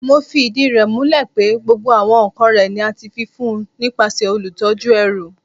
Mo fi idi rẹ mulẹ pe gbogbo awọn nkan rẹ ni a ti fi fun nipasẹ olutọju ẹru